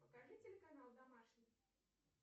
покажи телеканал домашний